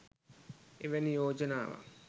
එවැනි යෝජනාවක්